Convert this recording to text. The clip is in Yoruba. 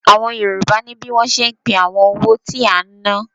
Àwọn Yorùbá ní bí wọ́n ṣe ń pé àwọn owó tí a ń ná.